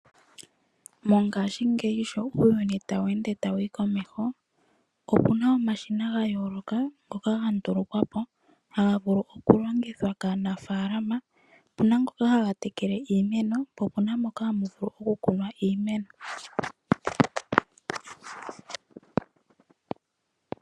Mongashingeyi sho uuyuni tawu ende tawu yi komeho opu na omashina ga yooloka ngoka ga ndulukwa po haga vulu okulongithwa kaanafalama. Opu na ngoka haga tekele iimeno po opu na moka hamu vulu okukunwa iimeno.